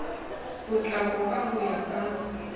potlako ka ho ya ka